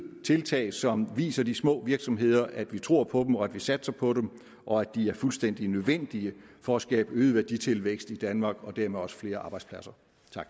tiltag som viser de små virksomheder at vi tror på dem og at vi satser på dem og at de er fuldstændig nødvendige for at skabe øget værditilvækst i danmark og dermed også flere arbejdspladser